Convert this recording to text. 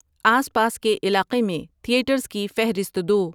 آس پاس کے علاقے میں تھیٹرز کی فہرست دو